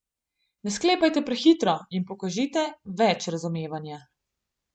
Ne sklepajte prehitro in pokažite več razumevanja.